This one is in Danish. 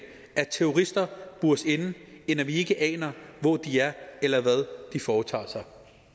at terrorister bures inde end at vi ikke aner hvor de er eller hvad de foretager sig